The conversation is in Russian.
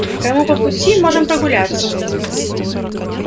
кому по пути можем прогуляться